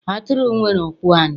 Atụrụ nwere ụkwụ anọ